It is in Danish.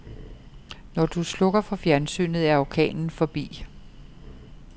Når du slukker for fjernsynet, er orkanen forbi.